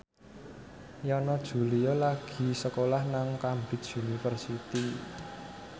Yana Julio lagi sekolah nang Cambridge University